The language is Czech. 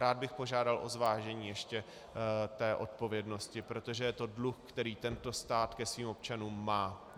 Rád bych požádal o zvážení ještě té odpovědnosti, protože to je dluh, který tento stát ke svým občanům má.